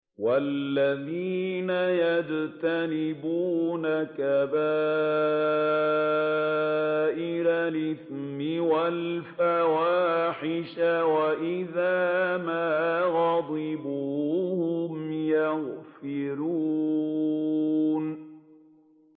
وَالَّذِينَ يَجْتَنِبُونَ كَبَائِرَ الْإِثْمِ وَالْفَوَاحِشَ وَإِذَا مَا غَضِبُوا هُمْ يَغْفِرُونَ